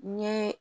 N ye